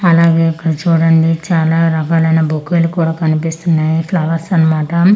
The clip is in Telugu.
అలాగే ఇక్కడ చూడండి చాలా రకాలైన బుక్కులు కూడా కనిపిస్తునాయి ఫ్లవర్స్ అన్నమాట ఈ ఫ్ల--